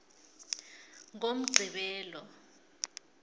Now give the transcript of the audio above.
ngomgqibelo